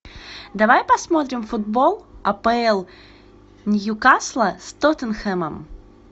давай посмотрим футбол апл ньюкасла с тоттенхэмом